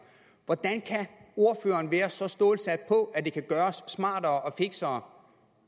hvordan kan ordføreren være så stålsat på at det kan gøres smartere og fiksere